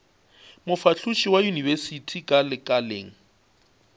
mofahloši wa yunibesithi ka lekaleng